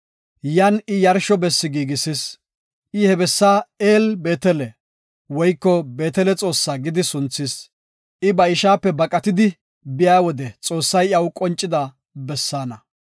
Yan I yarsho bessi giigisis. I he bessa El-Beetele (Beetele Xoossa) gidi sunthis. I ba ishaape baqatidi biya wode Xoossay iyaw qonciday he bessaana.